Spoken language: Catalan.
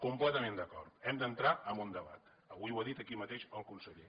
completament d’acord hem d’entrar en un debat avui ho ha dit aquí mateix el conseller